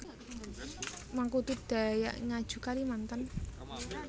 Mangkudu Dayak Ngaju Kalimantan